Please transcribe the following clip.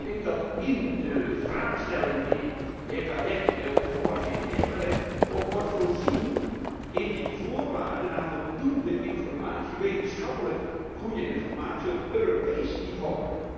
Ik denk dat in de vraagstelling die de heer Cadec vanmorgen heeft neergelegd, ook wordt voorzien in die voorwaarden naar voldoende wetenschappelijk goede informatie op Europees niveau.